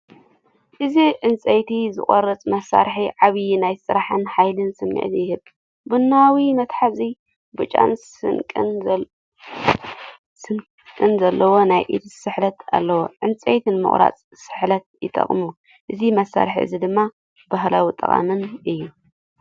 እዚ ዕንጨይቲ ዝቖርጽ መሳርሒ ዓቢይ ናይ ስራሕን ሓይልን ስምዒት ይህብ! ቡናዊ መትሓዚን ብጫ ስንቂን ዘለዎ ናይ ኢድ ስሕለት ኣለዎ። ዕንጨይቲ ንምቑራጽ ስሕለት ይጥቀም፣ እዚ መሳርሒ እዚ ድማ ባህላውን ጠቓምን እዩ።